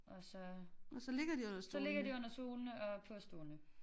Og så så ligger de under stolene og på stolene